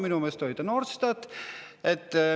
" Minu meelest oli ta Norstatist.